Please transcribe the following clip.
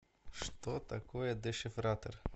что такое дешифратор